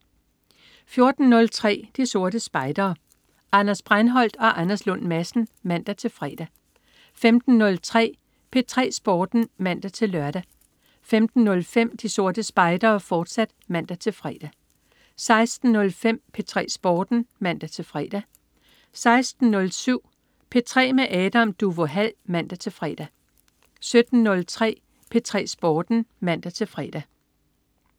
14.03 De Sorte Spejdere. Anders Breinholt og Anders Lund Madsen (man-fre) 15.03 P3 Sporten (man-lør) 15.05 De Sorte Spejdere, fortsat (man-fre) 16.05 P3 Sporten (man-fre) 16.07 P3 med Adam Duvå Hall (man-fre) 17.03 P3 Sporten (man-fre)